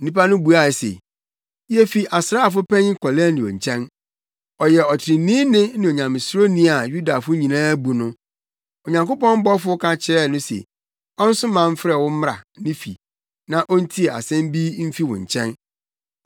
Nnipa no buaa no se, “Yefi asraafo panyin Kornelio nkyɛn. Ɔyɛ ɔtreneeni ne Onyamesuroni a Yudafo nyinaa bu no. Onyankopɔn bɔfo ka kyerɛɛ no se ɔnsoma mfrɛ wo mmra ne fi na ontie asɛm bi mfi wo nkyɛn.”